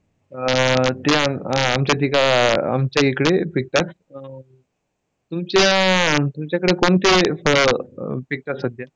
ते फळ आमच्या इकडे पिकतात तुमच्या, तुमच्याकडं कोणते फळ पिकतात सध्या?